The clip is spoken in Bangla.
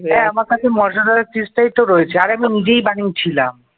হ্যাঁ আমার কাছে মোজারেলা cheese টাই তো রয়েছে। আরে আমি নিজেই বানিয়েছিলাম ।